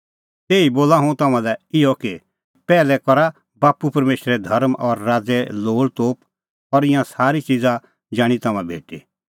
तैही बोला हुंह तम्हां लै इहअ कि पैहलै करा बाप्पू परमेशरे धर्म और राज़े लोल़तोप और ईंयां सारी च़िज़ा जाणीं तम्हां भेटी